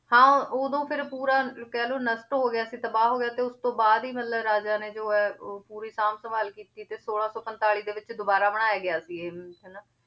ਹਾਂ ਉਦੋਂ ਫਿਰ ਪੂਰਾ ਕਹਿ ਲਓ ਨਸ਼ਟ ਹੋ ਗਿਆ ਸੀ ਤਬਾਹ ਹੋ ਗਿਆ ਸੀ ਤੇ ਉਸ ਤੋਂ ਬਾਅਦ ਹੀ ਮਤਲਬ ਰਾਜਾ ਨੇ ਜੋ ਹੈ ਉਹ ਪੂਰੀ ਸਾਂਭ-ਸੰਭਾਲ ਕੀਤੀ ਤੇ ਛੋਲਾਂ ਸੌ ਪੰਤਾਲੀ ਦੇ ਵਿੱਚ ਦੁਬਾਰਾ ਬਣਾਇਆ ਗਿਆ ਸੀ ਇਹ ਹਨਾ,